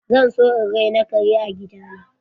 Zan so in raina kare a gida na.